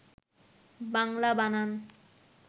বাংলা বানান